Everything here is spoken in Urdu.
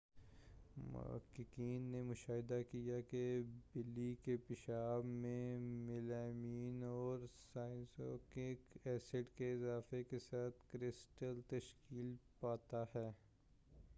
محققین نے مشاہدہ کیا ہے کہ بلی کے پیشاب میں میلمائن اورسائنورک ایسڈ کے اضافہ کے ساتھ کرسٹل تشکیل پاتا ہے